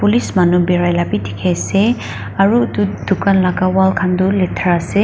police manu birai la b dikhi ase aru etu dukaan la wall khan tu letra ase.